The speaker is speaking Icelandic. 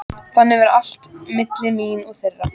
Þannig var allt milli mín og þeirra.